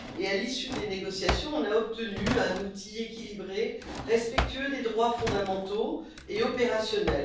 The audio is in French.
À l'issue des négociations, nous avons obtenu un outil équilibré, respectueux des droits fondamentaux et opérationnel.